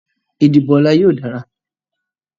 Ìdìbò ọ̀la yóò dára